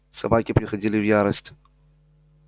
собаки приходили в ярость